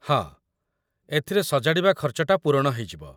ହଁ, ଏଥିରେ ସଜାଡ଼ିବା ଖର୍ଚ୍ଚଟା ପୂରଣ ହେଇଯିବ ।